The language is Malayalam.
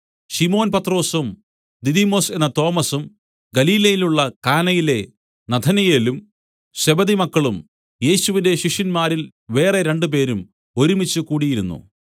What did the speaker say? ശിമോൻ പത്രൊസും ദിദിമൊസ് എന്ന തോമസും ഗലീലയിലുള്ള കാനയിലെ നഥനയേലും സെബെദിമക്കളും യേശുവിന്റെ ശിഷ്യന്മാരിൽ വേറെ രണ്ടുപേരും ഒരുമിച്ചു കൂടിയിരുന്നു